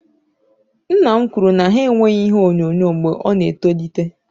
Nna m kwụrụ na ha enweghị ihe onyonyo mgbe ọ na etolite